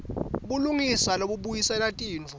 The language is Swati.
bulungisa lobubuyisela tintfo